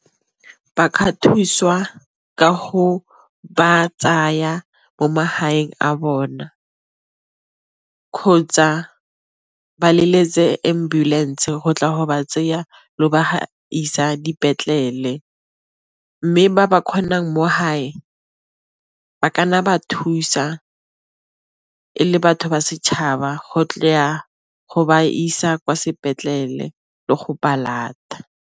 Ba ka thusiwa ka go ba tsaya mo magaeng a bona kgotsa ba leletse ambulance go tla go ba tseya le go isa dipetlele, mme ba ba kgonang mo hae ba ka nna ba thusa e le batho ba setšhaba go tle ya go ba isa kwa sepetlele le go ba lata.